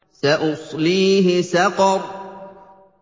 سَأُصْلِيهِ سَقَرَ